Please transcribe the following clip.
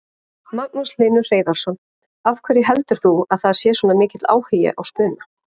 Magnús Hlynur Hreiðarsson: Af hverju heldur þú að sé svona mikill áhugi á spuna?